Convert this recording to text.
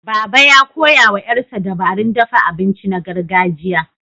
Baba, ya koya wa ƴarsa dabarun dafa abinci na gargajiya.